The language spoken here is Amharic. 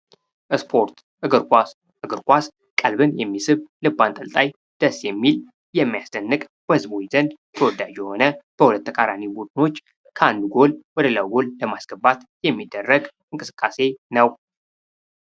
ስፖርት ፦እግር ኳስ፦ እግር ኳስ ቀልብን የሚስብ፣ ልብ አንጠልጣይ ፣ደስ የሚል፣ የሚያስደንቅ በህዝቦች ዘንድ ተወዳጅ የሆነ በሁለት ተቃራኒ ቡድኖች ከአንድ ጎል ወደ ሌላው ጎል ለማስገባት የሚደረግ እንቅስቃሴ ነው።